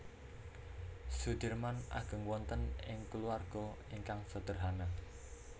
Soedirman ageng wonten ing kulawarga ingkang sedherhana